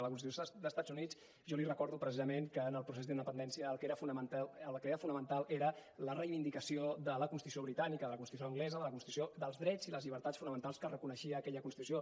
la constitució d’estats units jo li recordo precisament que en el procés d’independència el que era fonamental era la reivindicació de la constitució britànica de la constitució anglesa de la constitució dels drets i les llibertats fonamentals que reconeixia aquella constitució